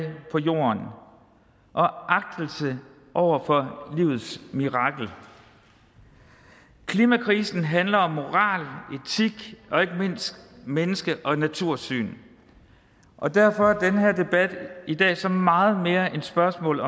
på jorden og agtelse over for livets mirakel klimakrisen handler om moral etik og ikke mindst menneske og natursyn og derfor er den her debat i dag så meget mere end spørgsmål